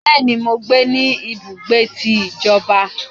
Béèni, mọ gbé ní ibùgbé tí ìjọba